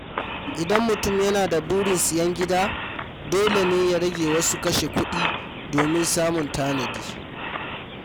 Idan mutum yana da burin siyan gida, dole ne ya rage wasu kashe-kuɗi domin samun tanadi.